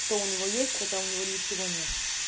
что у него есть хотя у него ничего нет